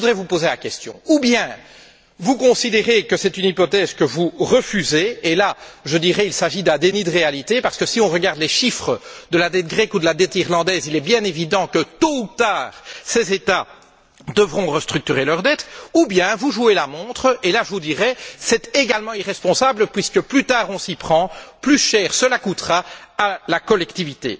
Alors, je voudrais faire la remarque suivante ou bien vous considérez que c'est une hypothèse que vous refusez, et là je vous dirais qu'il s'agit d'un déni de réalité parce que si on regarde les chiffres de la dette grecque ou de la dette irlandaise, il est bien évident que, tôt ou tard, ces États devront restructurer leur dette, soit vous jouez la montre, et là je vous dirais que c'est également irresponsable, puisque plus tard on s'y prend, plus cher cela coûtera à la collectivité.